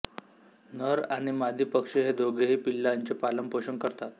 नर आणि मादी पक्षी हे दोघेही पिलांचे पालन पोषण करतात